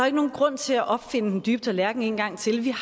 ikke nogen grund til at opfinde den dybe tallerken en gang til vi